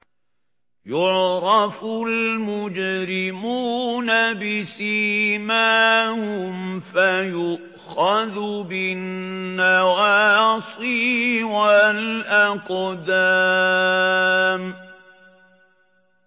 يُعْرَفُ الْمُجْرِمُونَ بِسِيمَاهُمْ فَيُؤْخَذُ بِالنَّوَاصِي وَالْأَقْدَامِ